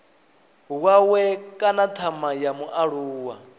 wawe kana thama ya mualuwa